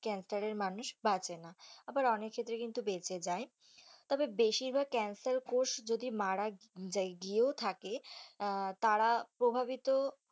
আবার অনেক ক্ষেত্রে কিন্তু বেঁচে যায়, তবে বেশির ভাগ ক্যান্সার কোষ যদি মারা যাই গিয়েও থাকে তারা প্রভাবিত।